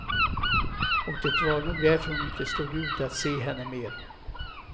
Och det var nog därför hon inte stod ut att se henne mer.